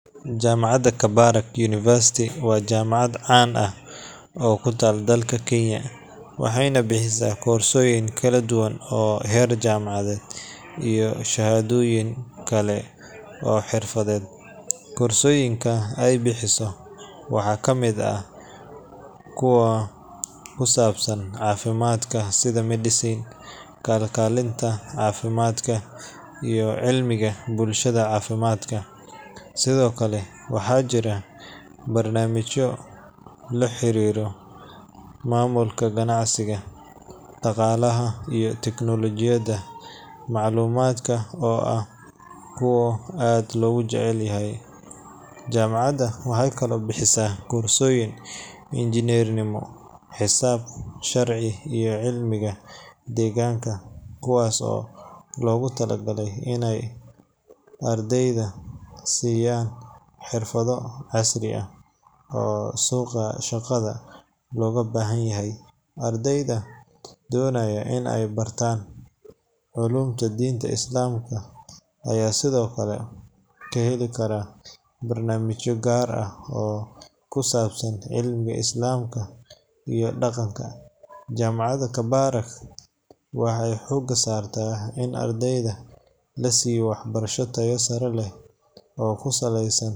vJaamacadda Kabarak University waa jaamacad caan ah oo ku taal dalka Kenya, waxayna bixisaa koorsooyin kala duwan oo heer jaamacadeed iyo shahaadooyin kale oo xirfadeed. Koorsooyinka ay bixiso waxaa ka mid ah kuwa ku saabsan caafimaadka sida Medicine, kalkaalinta caafimaadka, iyo cilmiga bulshada caafimaadka. Sidoo kale, waxaa jira barnaamijyo la xiriira maamulka ganacsiga, dhaqaalaha, iyo tiknoolajiyada macluumaadka oo ah kuwa aad looga jecel yahay. Jaamacadda waxay kaloo bixisaa koorsooyin injineernimo, xisaab, sharci, iyo cilmiga deegaanka, kuwaas oo loogu talagalay inay ardayda siiyaan xirfado casri ah oo suuqa shaqada looga baahan yahay. Ardayda doonaya in ay bartaan culuumta diinta Islaamka ayaa sidoo kale ka heli kara barnaamijyo gaar ah oo ku saabsan cilmiga Islaamka iyo dhaqanka. Jaamacadda Kabarak waxay xoogga saartaa in ardayda la siiyo waxbarasho tayo sare leh oo ku saleysan.